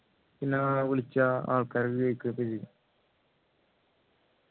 പിന്നെ വിളിച്ചാൽ ആള്ക്കാര് കേൾക്കും